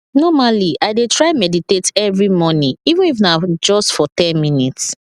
normally i dey try meditate every morning even if na just for ten minutes